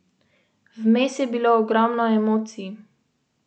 Vojaki pomagajo pri popravilu cest, mostov in brežin.